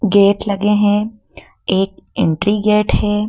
Gate लगे हैं एक एंट्री गेट है।